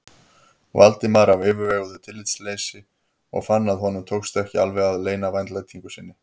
Valdimar af yfirveguðu tillitsleysi og fann að honum tókst ekki alveg að leyna vandlætingu sinni.